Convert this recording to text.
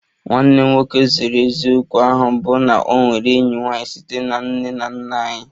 Nwanne m nwoke zoro eziokwu ahụ bụ na o nwere enyi nwanyị site na nne na nna anyị